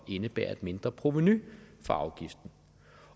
indebære et mindre provenu for afgiften